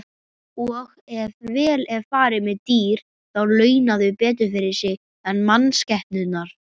Og ef vel er farið með dýr þá launa þau betur fyrir sig en mannskepnurnar.